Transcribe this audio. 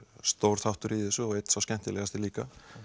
stór þáttur í þessu og einn sá skemmtilegasti líka